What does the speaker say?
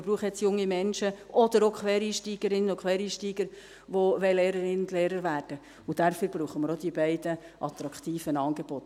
wir brauchen jetzt junge Menschen oder auch Quereinsteigerinnen und Quereinsteiger, die Lehrerin und Lehrer werden möchten, und dafür brauchen wir auch die beiden attraktiven Angebote.